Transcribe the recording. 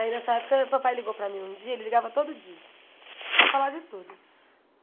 Aí nessa época o papai ligou para mim um dia, ele ligava todo dia para falar de tudo.